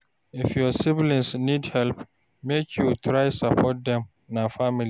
If your siblings need help, make you try support dem, na family.